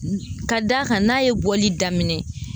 Ka d'a kan n'a ye bɔli daminɛ.